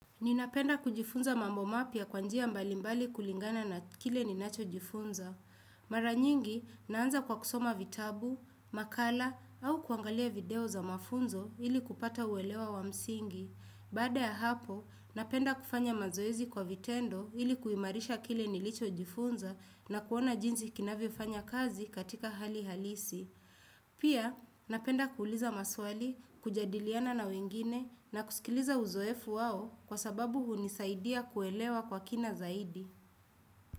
Ninapenda kujifunza mambo mapya kwa njia mbalimbali kulingana na kile ninacho jifunza. Mara nyingi, naanza kwa kusoma vitabu, makala, au kuangalia video za mafunzo ili kupata uelewa wa msingi. Baada ya hapo, napenda kufanya mazoezi kwa vitendo ili kuimarisha kile nilichojifunza na kuona jinsi kinavyofanya kazi katika hali halisi. Pia napenda kuuliza maswali, kujadiliana na wengine na kusikiliza uzoefu wao kwa sababu hunisaidia kuelewa kwa kina zaidi.